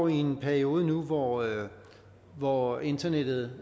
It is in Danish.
i en periode nu hvor hvor internettet